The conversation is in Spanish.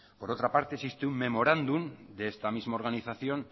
por otra parte existe un memorándum de esta misma organización